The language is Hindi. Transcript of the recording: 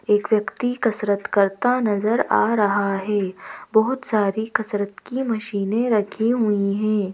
एक व्यक्ति कसरत करता नजर आ रहा है बहुत सारी कसरत की मशीनें रखी हुई हैं।